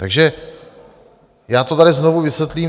Takže já to tady znovu vysvětlím.